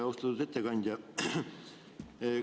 Austatud ettekandja!